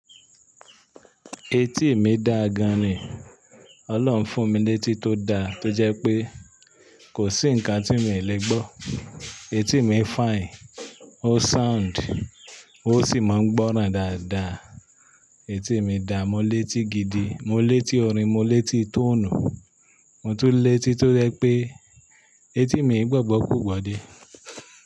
Etí mi dà gan ni, Ọlọ́run fún mi létí tó da tó jẹ́ pé kò sí ǹkan tí mi lè gbọ́. Etí mi fine, ó sound, ó sì máa ń gbọ́ran dáadáa. Etí mi dà, mo létí gidi, mo létí orin, mo létí tọ́onú, mo tún létí tó jẹ́ pé etí mi i gbọ́gbọ́ ku gbọ́ de.